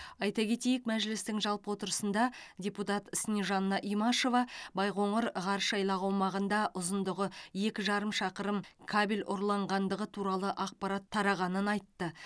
айта кетейік мәжілістің жалпы отырысында депутат снежанна имашева байқоңыр ғарыш айлағы аумағында ұзындығы екі жарым шақырым кабель ұрланғандығы туралы ақпарат тарағанын айтты